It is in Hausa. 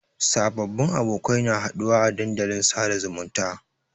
Sababbin abokai na haɗuwa a dandalin sada zumunta.